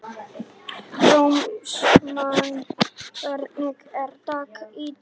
Rósmann, hvernig er dagskráin í dag?